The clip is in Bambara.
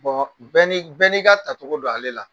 bɛɛ n'i ka ta cogo don ale la.